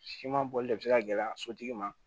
Siman bolili de bɛ se ka gɛlɛya sotigi ma